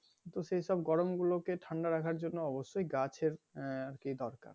কিন্তু সেসব গরম গুলোকে ঠাণ্ডা রাখার জন্য গাছের আহ কি দরকার।